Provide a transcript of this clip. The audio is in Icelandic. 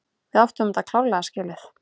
Við áttum þetta klárlega skilið.